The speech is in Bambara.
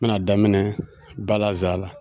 N mi n'a daminɛ balaza la